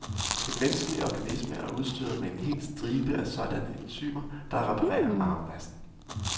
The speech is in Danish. Den menneskelige organisme er udstyret med en hel stribe af sådanne enzymer, der reparerer arvemassen.